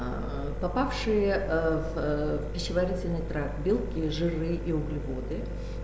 попавшие в в пищеварительный тракт белки жиры и углеводы